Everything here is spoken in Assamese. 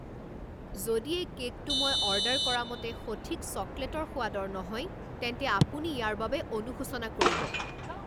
যদি এই কে'কটো মই অৰ্ডাৰ কৰামতে সঠিক চকলেটৰ সোৱাদৰ নহয়, তেন্তে আপুনি ইয়াৰ বাবে অনুশোচনা কৰিব!